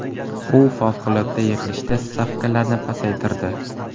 U favqulodda yig‘ilishda stavkalarni pasaytirdi .